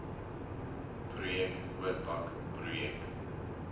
projek oorpak projek